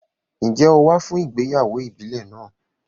Ǹjẹ́ o wá fún ìgbéyàwó ìbílẹ̀ náà?